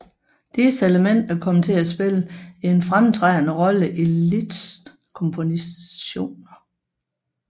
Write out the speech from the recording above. Disse elementer kom til at spille en fremtrædende rolle i Liszts kompositioner